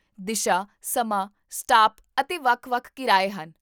ਦਿਸ਼ਾ, ਸਮਾਂ, ਸਟਾਪ ਅਤੇ ਵੱਖ ਵੱਖ ਕਿਰਾਏ ਹਨ